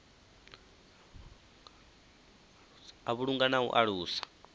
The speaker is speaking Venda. u vhulunga na u alusa